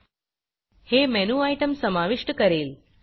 हे मेनू Itemमेनु आइटम समाविष्ट करेल